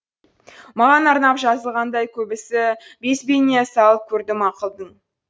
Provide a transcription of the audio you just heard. маған арнап жазылғандай көбісі безбеніне салып көрдім ақылдың